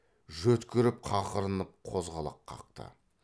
жөткіріп қақырынып қозғалақ қақты